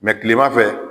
kilemafɛ